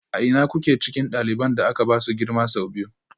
A ina kuke cikin ɗaliban da aka ba su girma sau biyu?